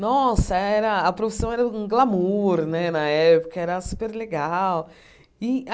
Nossa, era a profissão era um glamour né na época, era super legal. E